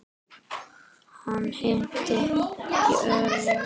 Hann hnippti í Örn.